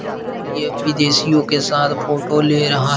और ये विदेशियों के साथ फोटो ले रहा --